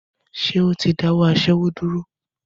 Ṣé ó ti dáwọ́ aṣẹ́wó dúró?